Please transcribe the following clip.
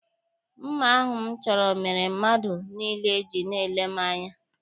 Mma ahụ m chọrọ mere mmadụ niile ji na-ele m anya.